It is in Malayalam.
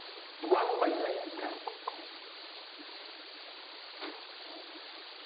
one by sin theta